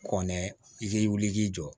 Kɔnɛ i k'i wuli k'i jɔ